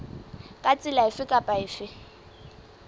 ka tsela efe kapa efe